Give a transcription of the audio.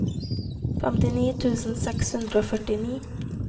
femtini tusen seks hundre og førtini